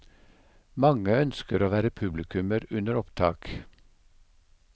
Mange ønsker å være publikummer under opptak.